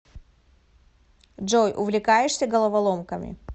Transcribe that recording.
джой увлекаешься головоломками